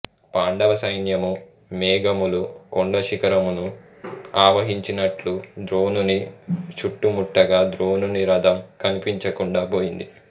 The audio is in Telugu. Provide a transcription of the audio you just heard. పాండవ సైన్యము మేఘములు కొండ శిఖరమును ఆవహించినట్లు ద్రోణుని చుట్టుముట్టగా ద్రోణుని రథం కనిపించకుండా పోయింది